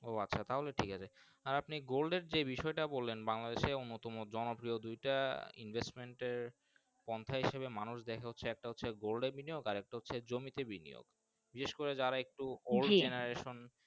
ও আচ্ছা তাহলে ঠিক আছে আপনি Gold এর যে বিষয় টি বললেন বাংলদেশ এর মতো মোট জন প্রিয় দুইটা Investment এ মানুষ দেখা হচ্ছে একটা Gold এর বিনিয়োগ আর একটা হচ্ছে জমি তে বিনিয়োগ বিষের করে যারা একটু OldGeneration